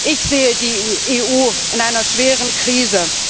Ich sehe die EU in einer schweren Krise.